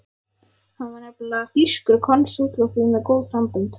Hann var nefnilega þýskur konsúll og því með góð sambönd.